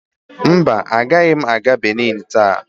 Mba, agaghị m aga Benin taa.